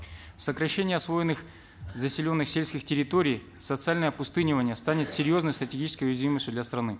сокращение освоенных заселенных сельских территорий социальное опустынивание станет серьезной стратегической уязвимостью для страны